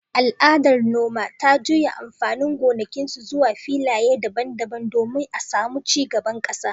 Al’adar noma ta jujjuya amfanin gonakinsu, zuwa filaye daban-daban domin a samu ci gaban kasa.